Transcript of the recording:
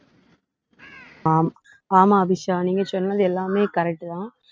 ஆம். ஆமாம், அபிஷா. நீங்க சொன்னது எல்லாமே correct தான்